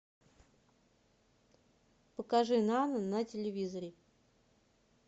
покажи нано на телевизоре